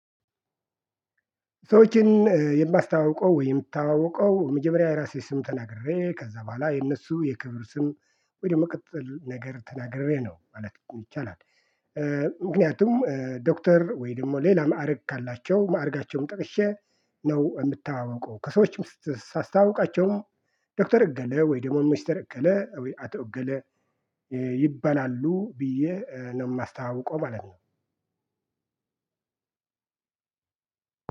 ሰዎችን የማስተዋውቀው ወይም የምተዋወቀው መጀመሪያ የራሴ ስም ተናግሬ ከዛ በኋላ የእነሱ የክብር ስም ወይ ደግሞ ቅጽል ነገር ተናግሬ ነው ማለት ይቻላል። ምክንያቱም ዶክተር ወይ ደግሞ ሌላ ማዕረግ ካላቸው ማዕረጋቸውም ጠቅሼ ነው የምተዋወቀው ከሰዎችም ሳስተዋውቃቸውም ዶክተር እገለ ወይ ደግሞ ሚስተር እከለ ወይም አቶ እገሌ ይባላሉ ብዬ ነው የማስተዋውቀው ማለት ነው።